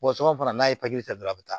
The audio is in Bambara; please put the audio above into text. sɔgɔsɔgɔ fana n'a ye ta dɔrɔn a bɛ taa